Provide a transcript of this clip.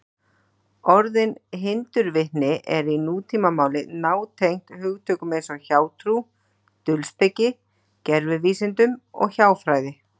Orðið hindurvitni er í nútímamáli nátengt hugtökum eins og hjátrú, dulspeki, gervivísindum og hjáfræði.